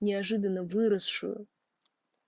неожиданно выросшую